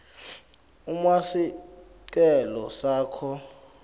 uma sicelo sakho